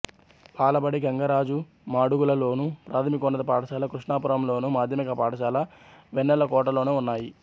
బాలబడి గంగరాజు మాడుగులలోను ప్రాథమికోన్నత పాఠశాల కృష్ణాపురంలోను మాధ్యమిక పాఠశాల వెన్నెలకోటలోనూ ఉన్నాయి